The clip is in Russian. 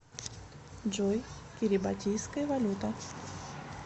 джой кирибатийская валюта